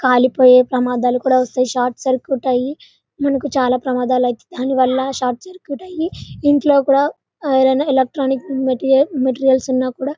కాలిపోయి ప్రమాదాలు కూడా వస్తాయ్ షార్ట్ సర్క్యూట్ అయ్యి మనకు చాల ప్రమాదాలు అయితె దానివల్ల షార్ట్ సర్క్యూట్ అయ్యే ఇంట్లో కూడా ఎవరైన ఎలక్ట్రానిక్ మెటీరియల్ మెటీరియల్స్ ఉన్నా కూడా --